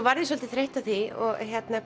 varð svolítið þreytt á því og